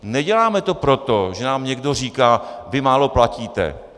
Neděláme to proto, že nám někdo říká: vy málo platíte.